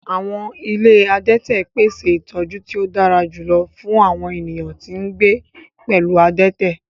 Awọn ile adẹtẹ pese itọju ti o dara julọ fun awọn eniyan ti n gbe pẹlu adẹtẹ